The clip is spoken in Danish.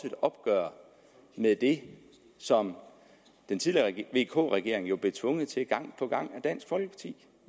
et opgør med det som vk regeringen blev tvunget til gang på gang af dansk folkeparti